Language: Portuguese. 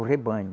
O rebanho.